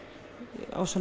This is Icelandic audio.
á svona